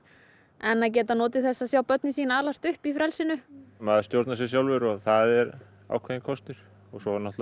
en að geta notið þess að sjá börnin sín alast upp í frelsinu maður stjórnar sér sjálfur og það er ákveðinn kostur svo